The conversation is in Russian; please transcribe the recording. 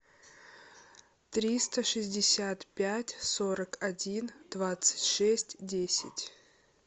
триста шестьдесят пять сорок один двадцать шесть десять